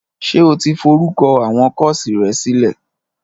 Ṣé o ti forúkọ àwọn kọ́ọ̀sì rẹ sílẹ̀?